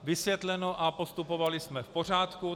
Vysvětleno a postupovali jsme v pořádku.